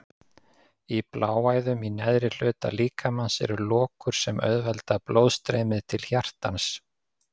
Í bláæðum í neðri hluta líkamans eru lokur sem auðvelda blóðstreymið til hjartans.